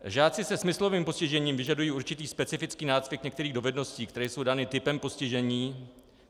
Žáci se smyslovým postižením vyžadují určitý specifický nácvik některých dovedností, které jsou dány typem postižení.